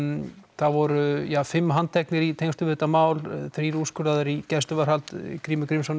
það voru fimm handteknir í tengslum við þetta mál þrír úrskurðaðir í gæsluvarðhald Grímur Grímsson